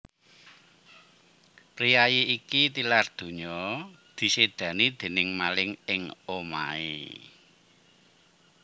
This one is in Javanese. Priyayi iki tilar ndonya disédani déning maling ing omahé